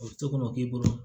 O to k'o ma k'i bolo